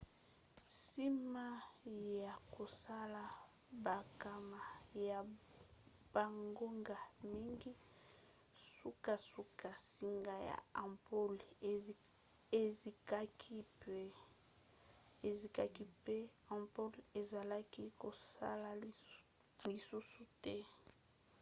nsima ya kosala bankama ya bangonga mingi sukasuka nsinga ya ampule ezikaki mpe ampule ezalaki kosala lisusu te